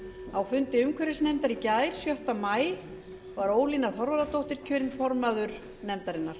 á fundi umhverfisnefndar í gær sjötta maí var ólína þorvarðardóttir kjörin formaður nefndarinnar